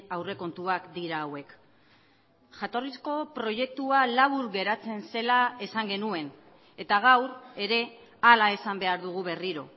aurrekontuak dira hauek jatorrizko proiektua labur geratzen zela esan genuen eta gaur ere hala esan behar dugu berriro